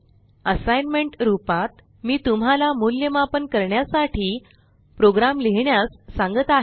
assignment रूपात मी तुम्हाला मूल्यमापन करण्यासाठी प्रोग्राम लिहिण्यास सांगत आहे